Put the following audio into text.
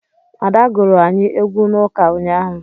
Ada gụrụ anyị egwu n'ụka unyaahụ